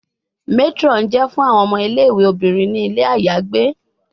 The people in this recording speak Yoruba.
Matron jẹ fun awọn omo Ile-iwe. obinrin ni ile ayagbe